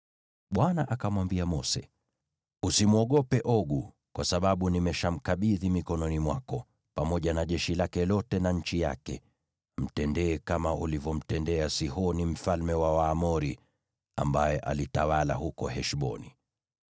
Bwana akamwambia Mose, “Usimwogope Ogu, kwa sababu nimeshamkabidhi mikononi mwako, pamoja na jeshi lake lote na nchi yake. Mtendee kama ulivyomtendea Sihoni mfalme wa Waamori, ambaye alitawala huko Heshboni.”